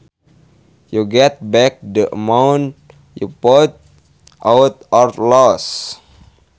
you get back the amount you put out or lost